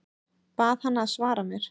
Bað hana að svara mér.